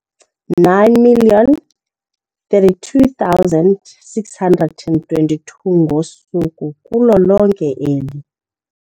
9 032 622 ngosuku kulo lonke eli.